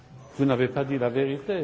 Vous n'avez pas dit la vérité